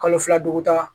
Kalo fila dugu ta